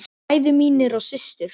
Bræður mínir og systur.